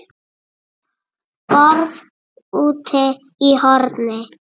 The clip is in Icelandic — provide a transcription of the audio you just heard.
BORÐ ÚTI Í HORNI